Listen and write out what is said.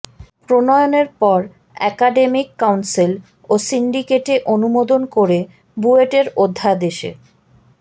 প্রণয়নের পর academic council ও সিন্ডিকেটে অনুমোদন করে বুয়েটের অধ্যাদেশে